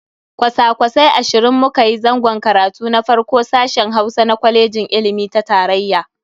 Kwasa-kwasai ashirin mu kayi zangon karatu na farko a sashen Hausa na kwaleji ilimi ta tarayya.